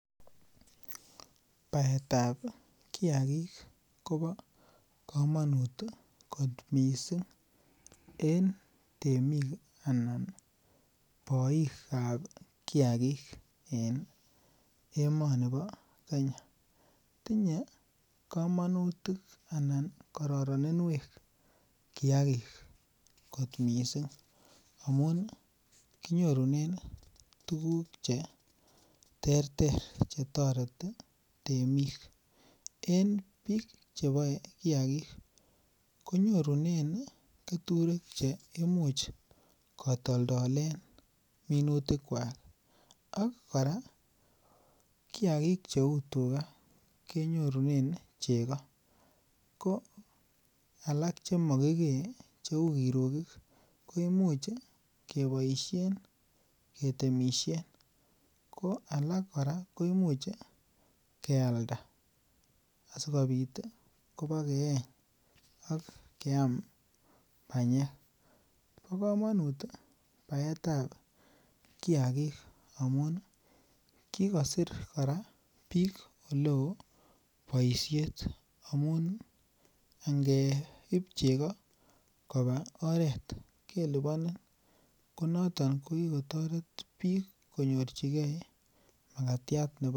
Baetab kiagik kobo kamanut ih en temik anan boikab kiagik en emoni bo Kenya. Tinye kamatik anan kararaninwek missing amuun kinyorunen tuguk che ter ter. Chetareti temik en bik cheboe kiagik konyorunen katoltolleywek cheimuche kotoldolen minutikuak ak kora kora kiagik cheuu tuga akenyorunen chego . Koa lak chemakikee cheuu kirugik kemoche keboisien ketemisien ko alak kora koi much ih kialda asikobit ih kebokeeny, akiam banyek, bo komanut baetab kiagik amuun kikosir bik oleo boisiet amuun ngeib chego kobar oret kobage lubani, noton kikotoret bik konyor magatiatab Kila